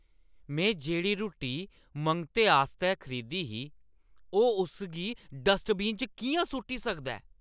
में जेह्ड़ी रुट्टी मंगते आस्तै खरीदी ही, ओह् उस गी डस्टबिन च किʼयां सु'ट्टी सकदा ऐ?